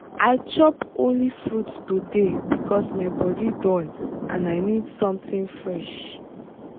i chop only fruit today because my body dull and i need something fresh.